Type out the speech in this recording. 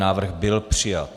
Návrh byl přijat.